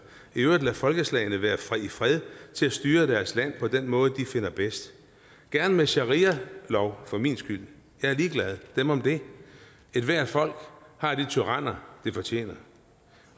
i øvrigt lade folkeslagene være i fred til at styre deres land på den måde de finder bedst gerne med sharialov for min skyld jeg er ligeglad dem om det ethvert folk har de tyranner de fortjener